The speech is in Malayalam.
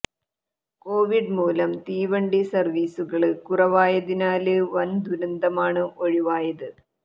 കോവിഡ് മൂലം തീവണ്ടി സര്വ്വീസുകള് കുറവായതിനാല് വന് ദുരന്തമാണ് ഒഴിവായത്